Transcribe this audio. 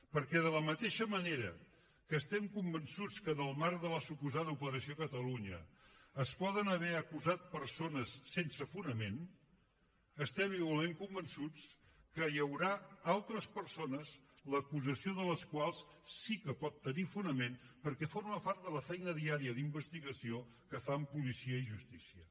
perquè de la mateixa manera que estem convençuts que en el marc de la suposada operació catalunya es poden haver acusat persones sense fonament estem igualment convençuts que hi haurà altres persones l’acusació de les quals sí que pot tenir fonament perquè forma part de la feina diària d’investigació que fan policia i justícia